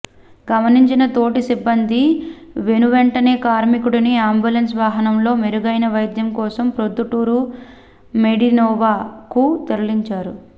గమనించిన తోటి సిబ్బంది వెనువెంటనే కార్మికుడిని అంబులెన్స్ వాహనంలో మెరుగైన వైద్యం కోసం ప్రొద్దుటూరు మెడినోవా కు తరలించారు